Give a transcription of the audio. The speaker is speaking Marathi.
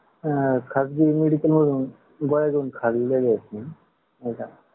म्हणजे कसं आहे? खासगी मेडिकलमधून गोळी घेऊन खाल्लेले.